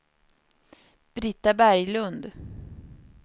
Brita Berglund